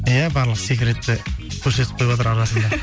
иә барлық секретті көрсетіп қойыватыр арасында